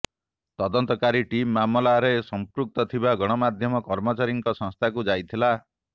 ତଦନ୍ତକାରୀ ଟିମ୍ ମାମଲାରେ ସମ୍ପୃକ୍ତ ଥିବା ଗଣମାଧ୍ୟମ କର୍ମଚାରୀଙ୍କ ସଂସ୍ଥାକୁ ଯାଇଥିଲା